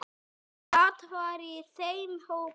Kata var í þeim hópi.